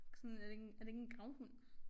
Ikke sådan er det ikke en er det ikke en gravhund?